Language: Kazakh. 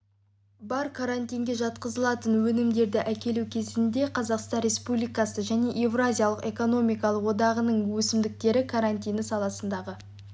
бар карантинге жатқызылатын өнімдерді әкелу кезінде қазақстан республикасы және еуразиялық экономикалық одағының өсімдіктер карантині саласындағы